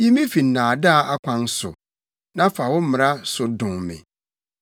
Yi me fi nnaadaa akwan so; na fa wo mmara so dom me.